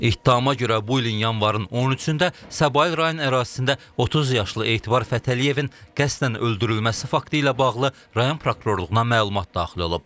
İttihama görə bu ilin yanvarın 13-də Səbail rayon ərazisində 30 yaşlı Etibar Fətəliyevin qəsdən öldürülməsi faktı ilə bağlı rayon prokurorluğuna məlumat daxil olub.